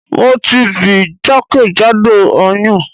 Mo ti bì jakejado oyun